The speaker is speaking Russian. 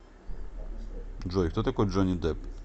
джой кто такой джонни депп